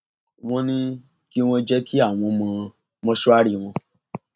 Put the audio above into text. wọn ní kí wọn jẹ kí àwọn wọ mọṣúárì wọn